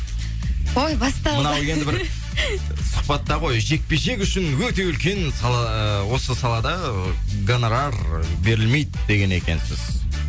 ой басталды мынау енді бір сұхбатта ғой жекпе жек үшін өте үлкен сала ыыы осы салада гонорар берілмейді деген екенсіз